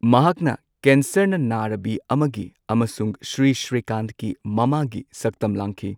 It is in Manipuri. ꯃꯍꯥꯛꯅ ꯀꯦꯟꯁꯔꯅ ꯅꯥꯔꯕꯤ ꯑꯃꯒꯤ ꯑꯃꯁꯨꯡ ꯁ꯭ꯔꯤ꯬ ꯁ꯭ꯔꯤꯀꯥꯟꯊꯀꯤ ꯃꯃꯥꯒꯤ ꯁꯛꯇꯝ ꯂꯥꯡꯈꯤ꯫